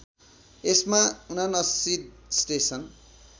यसमा ७९ स्टेसन